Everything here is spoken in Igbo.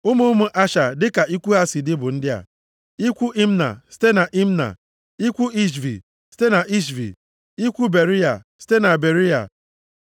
Ụmụ ụmụ Asha dịka ikwu ha si dị bụ ndị a: ikwu Imna site na Imna, ikwu Ishvi, site na Ishvi, ikwu Beriya, site na Beriya.